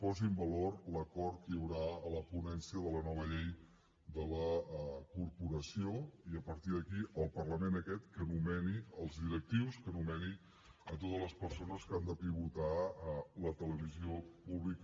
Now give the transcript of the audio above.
posi en valor l’acord que hi haurà a la ponència de la nova llei de la corporació i a partir d’aquí el parlament aquest que nomeni els directius que nomeni totes les persones que han de pivotar la televisió pública